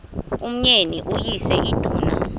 umyeni uyise iduna